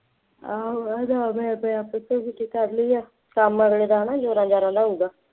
ਆਹੋ ਇਹ ਹਿਸਾਬ ਮੈਂ ਆਪਣੇ ਆਪ ਪਿੱਛੋਂ ਛੁੱਟੀ ਕਰ ਲਈ ਹੈ, ਕੰਮ ਅਗਲੇ ਦਾ ਨਾ ਜ਼ੋਰਾਂ ਜ਼ਾਰਾਂ ਦਾ ਹੋਊਗਾ